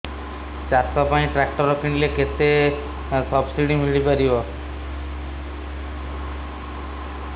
ଚାଷ ପାଇଁ ଟ୍ରାକ୍ଟର କିଣିଲେ କେତେ ସବ୍ସିଡି ମିଳିପାରିବ